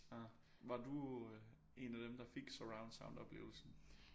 Ah var du en af dem der fik surround sound oplevelsen